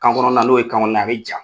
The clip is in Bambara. Kan kɔnɔna, n'o ye kan kɔnɔna ye, a bɛ ja.